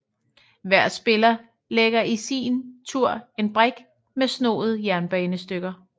Hver spiller lægger i sin tur en brik med snoede jernbanestykker